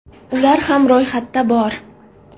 Ular ham ro‘yxatda bor.